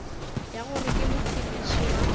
ya gore ke mophediši wa